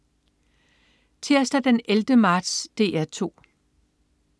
Tirsdag den 11. marts - DR 2: